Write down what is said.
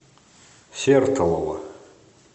сертолово